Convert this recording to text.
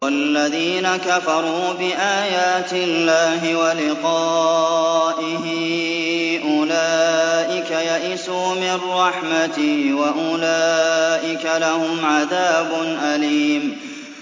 وَالَّذِينَ كَفَرُوا بِآيَاتِ اللَّهِ وَلِقَائِهِ أُولَٰئِكَ يَئِسُوا مِن رَّحْمَتِي وَأُولَٰئِكَ لَهُمْ عَذَابٌ أَلِيمٌ